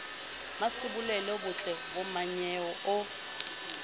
mmasebolelo butle bo mmanyeo o